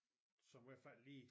Som i hvert fald lige